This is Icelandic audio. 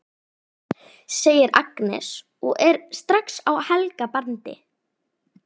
segir Agnes og er strax á Helga bandi.